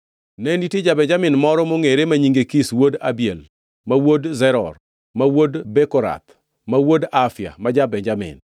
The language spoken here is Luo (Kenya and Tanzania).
Ne nitie ja-Benjamin moro mongʼere ma nyinge Kish wuod Abiel, ma wuod Zeror, ma wuod Bekorath, ma wuod Afia ma ja-Benjamin.